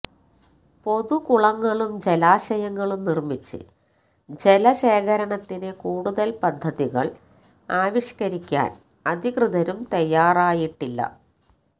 പൊതുകുളങ്ങളും ജലാശയങ്ങളും നിര്മിച്ച് ജലശേഖരണത്തിന് കൂടുതല് പദ്ധതികള് ആവിഷ്കരിക്കാന് അധികൃതരും തയ്യാറായിട്ടില്ല